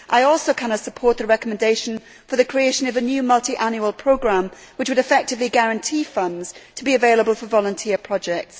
I also cannot support the recommendation for the creation of a new multiannual programme which would effectively guarantee funds to be available for volunteer projects.